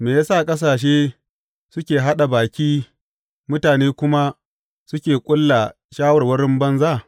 Me ya sa ƙasashe suke haɗa baki mutane kuma suke ƙulla shawarwarin banza?